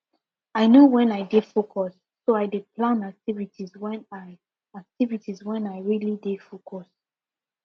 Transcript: i know wen i dey focus so i dey plan activities wen i activities wen i really dey focus